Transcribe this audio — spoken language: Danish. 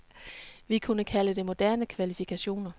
Vi kunne kalde det moderne kvalifikationer.